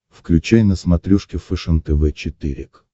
включай на смотрешке фэшен тв четыре к